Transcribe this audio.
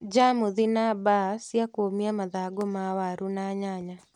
Njamuthi na mbaa cia kũmia mathangũ ma waru na nyanya